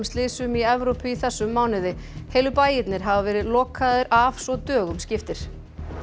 slysum í Evrópu í þessum mánuði heilu bæirnir hafa verið lokaðir af svo dögum skiptir